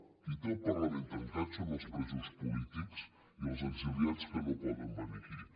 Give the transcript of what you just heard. qui té el parlament tancat són els presos polítics i els exiliats que no poden venir aquí